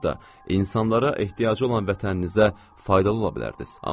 Siz hətta insanlara ehtiyacı olan vətəninizə faydalı ola bilərdiniz.